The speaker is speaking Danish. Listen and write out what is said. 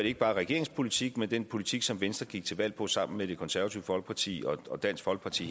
ikke bare regeringens politik men også den politik som venstre gik til valg på sammen med det konservative folkeparti og dansk folkeparti